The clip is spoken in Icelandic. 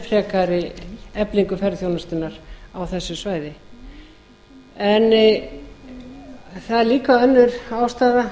frekari eflingu ferðaþjónustunnar á þessu svæði það er líka önnur ástæða